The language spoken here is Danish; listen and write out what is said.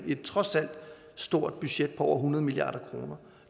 et trods alt stort budget på over hundrede milliard kroner